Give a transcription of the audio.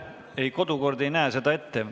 Ei, kodukord ei näe seda ette.